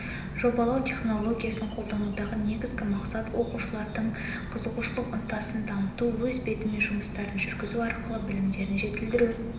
жобалау технологиясын қолданудағы негізгі мақсат оқушылардың қызығушылық ынтасын дамыту өз бетімен жұмыстарын жүргізу арқылы білімдерін жетілдіру